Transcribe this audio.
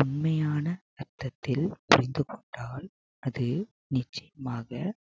உண்மையான அர்த்தத்தில் புரிந்து கொண்டால் அது நிச்சயமாக